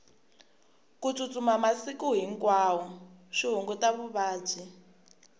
ku tsutsuma masiku hinkwawo swi hunguta vuvabyi